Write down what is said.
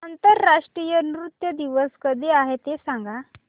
आंतरराष्ट्रीय नृत्य दिवस कधी आहे ते सांग